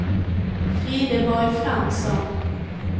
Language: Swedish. Frideborg Fransson